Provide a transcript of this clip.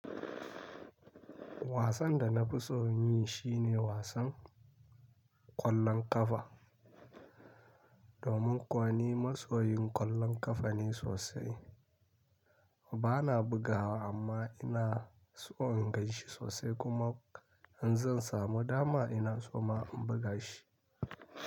Wasan da na fi so yi shine wasan ƙwallon ƙafa. Domin kuwa ni masoyin ƙwallon ƙafa ne sosai. Bana bugawa amma ina so in ganshi sosai kuma in zan samu dama ina so ma in buga shi.